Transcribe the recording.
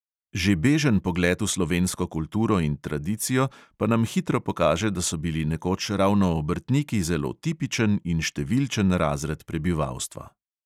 Že bežen pogled v slovensko kulturo in tradicijo pa nam hitro pokaže, da so bili nekoč ravno obrtniki zelo tipičen in številčen razred prebivalstva.